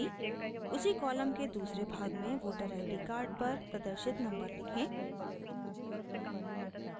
उसी कॉलम के दूसरे भाग में वोटर id कार्ड पर प्रदर्शित नम्बर लिखें